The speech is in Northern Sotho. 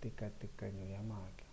tekatekano ya maatla